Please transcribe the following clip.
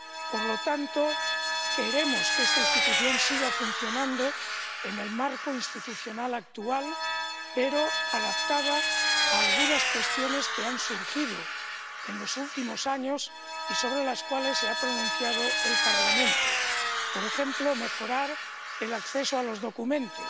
Por lo tanto, queremos que esta institución siga funcionando en el marco institucional actual, pero adaptada a algunas cuestiones que han surgido en los últimos años y sobre las cuales se ha pronunciado el Parlamento por ejemplo, mejorar el acceso a los documentos